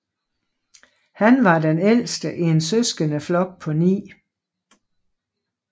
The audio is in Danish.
Han var den ældste i en søskendeflok på ni